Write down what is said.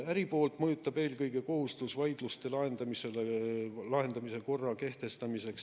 Äri poolt mõjutab eelkõige kohustus vaidluste lahendamise korra kehtestamiseks.